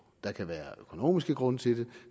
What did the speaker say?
der kan være økonomiske grunde til det